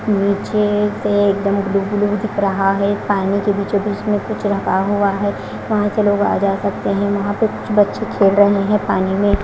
नीचे से एकदम ब्लू ब्लू दिख रहा है पानी के बीचों बीच में कुछ रखा हुआ है वहां से लोग आ जा सकते है वहां पे कुछ बच्चे खेल रहे है पानी में--